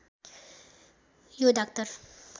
यो डाक्टर